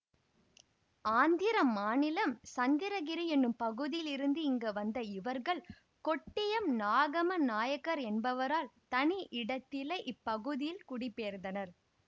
ஆந்திரம் மாநிலம் சந்திரகிரி என்னும் பகுதியில் இருந்து இங்கு வந்த இவர்கள் கொட்டியம் நாகம்ம நாயக்கர் என்பவரால் தனி இடத்தில இப்பகுதியில் குடிபெயர்ந்தனர்